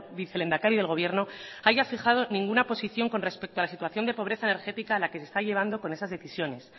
vicelehendakari del gobierno haya fijado ninguna posición con respecto a la situación de pobreza energética a la que se está llevando con esas decisiones